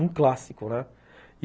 Um clássico, né?